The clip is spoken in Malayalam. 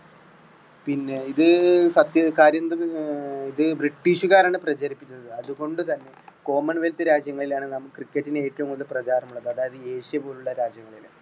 പിന്നെ ഇത് സത്യ കാര്യമെന്തെന്ന് ഏ ഇത് british കാരാണ് പ്രചരിപ്പിച്ചത് അതുകൊണ്ടു തന്നെ common wealth രാജ്യങ്ങളിലാണ് നാം cricket ന് ഏറ്റവും കൂടുതൽ പ്രചാരമുള്ളത് അതായത് ഏഷ്യ പോലുള്ള രാജ്യങ്ങളില്